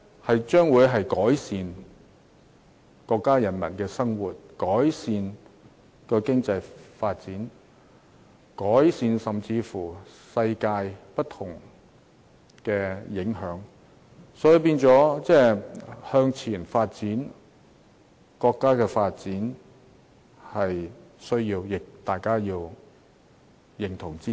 這將會改善國家人民的生活，帶動經濟發展，甚至對世界帶來各種影響，所以，國家向前發展是有必要的，亦要大家認同和支持。